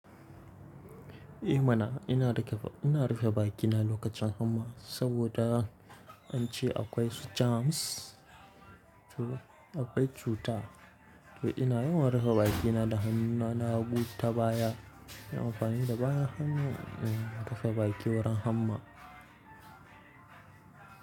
Eh mana ina rufe bakina lokacin hamma saboda an ce akwai su jams, akwai cuta. To ina yawan rufe bakina da hannuna na hagu tabaya, yin amfani da bayan hannu rufe baki wurin hamma.